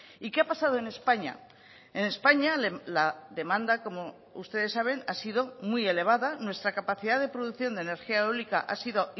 y qué ha pasado en españa en españa la demanda como ustedes saben ha sido muy elevada nuestra capacidad de producción de energía eólica ha sido